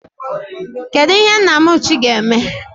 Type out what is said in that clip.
Kedụ ihe Nnamuchi ga-eme?